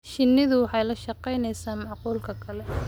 Shinnidu waxay la shaqaynaysaa makhluuqa kale.